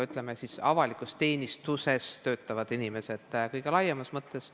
Ütleme siis nii, et tegemist on avalikus teenistuses töötavate inimestega kõige laiemas mõttes.